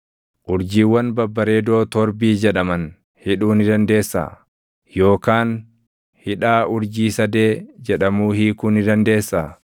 “Urjiiwwan babbareedoo Torbii jedhaman hidhuu ni dandeessaa? Yookaan hidhaa Urjii Sadee jedhamuu hiikuu ni dandeessaa?